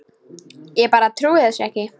Ég bara trúði þessu ekki.